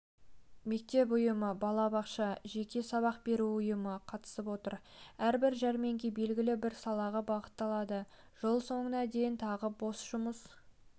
мектеп ұйымы балабақша жеке сабақ беру ұйымы қатысып отыр әрбір жәрмеңке белгілі бір салаға бағытталады жыл соңына дейін тағы бос жұмыс